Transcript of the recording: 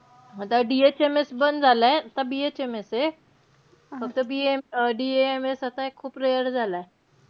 आता DHMS बंद झालय. आता BHMS ए. फक्त BA~DAMS आता हे खूप rare झालय. एक असतो दिल्ली ला. हो का?